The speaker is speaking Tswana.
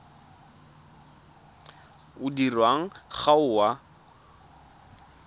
o dirwang ga o a